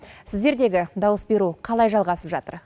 сіздердегі дауыс беру қалай жалғасып жатыр